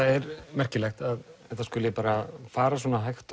er merkilegt að þetta skuli fara svona hægt og